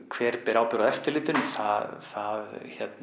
hver ber ábyrgð á eftirlitinu það